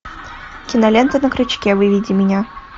кинолента на крючке выведи мне